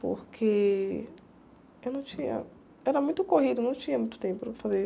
Porque eu não tinha... Era muito corrido, não tinha muito tempo para fazer.